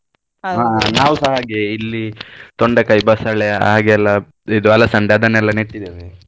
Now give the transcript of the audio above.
ನಾವುಸ ಹಾಗೆ ಇಲ್ಲಿ ತೊಂಡೆಕಾಯಿ, ಬಸಳೆ ಹಾಗೆಲ್ಲ ಇದು ಹಲಸೆಂಡೆ ಅದನ್ನೆಲ್ಲ ನೆಟ್ಟಿದ್ದೇವೆ.